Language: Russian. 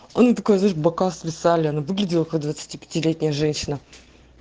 она такая знаешь бока свисали она выглядела как двадцати пяти летняя женщина